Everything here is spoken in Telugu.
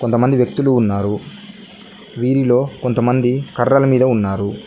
కొంతమంది వ్యక్తులు ఉన్నారు వీరిలో కొంతమంది కర్రల మీద ఉన్నారు.